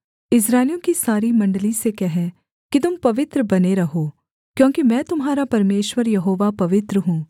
इस्राएलियों की सारी मण्डली से कह कि तुम पवित्र बने रहो क्योंकि मैं तुम्हारा परमेश्वर यहोवा पवित्र हूँ